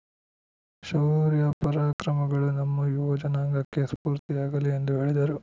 ಶೌರ್ಯ ಪರಾಕ್ರಮಗಳು ನಮ್ಮ ಯುವ ಜನಾಂಗಕ್ಕೆ ಸ್ಫೂರ್ತಿಯಾಗಲಿ ಎಂದು ಹೇಳಿದರು